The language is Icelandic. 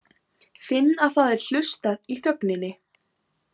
Finn að það er hlustað í þögninni.